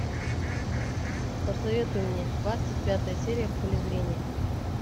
посоветуй мне двадцать пятая серия в поле зрения